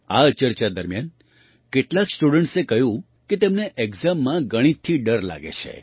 આ ચર્ચા દરમિયાન કેટલાક સ્ટુડન્ટ્સે કહ્યું કે તેમને એક્ઝામમાં ગણિતથી ડર લાગે છે